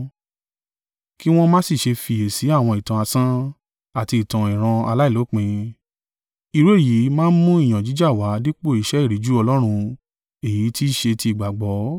kí wọ́n má sì ṣe fiyèsí àwọn ìtàn asán, àti ìtàn ìran aláìlópin. Irú èyí máa ń mú iyàn jíjà wá dípò iṣẹ́ ìríjú Ọlọ́run èyí tí í ṣe ti ìgbàgbọ́.